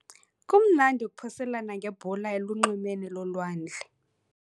Kumnandi ukuphoselana ngebhola elunxwemeni lolwandle.